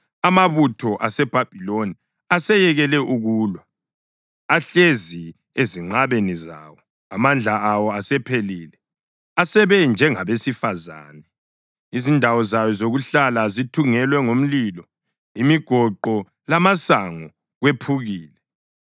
Amabutho aseBhabhiloni aseyekele ukulwa; ahlezi ezinqabeni zawo. Amandla awo asephelile. Asebe njengabesifazane. Izindawo zayo zokuhlala zithungelwe ngomlilo; imigoqo lamasango kwephukile.